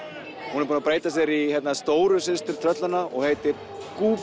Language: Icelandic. hún er búin að breyta sér í stóru systur tröllanna og heitir